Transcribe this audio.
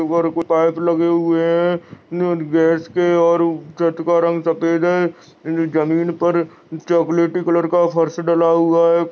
ऊपर ऊपर पाइप लगे हुए है न गैस के और न छत का रंग सफेद है न जमीन पर चोक्लेटी कलर का फर्श डला हुआ है।